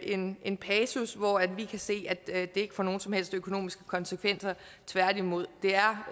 en en passus hvor vi kan se at det ikke får nogen som helst økonomiske konsekvenser tværtimod det er